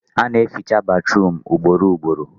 Ana eficha batruum ugboro ugboro